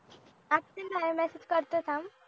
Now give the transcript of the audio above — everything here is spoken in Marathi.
message करते थांब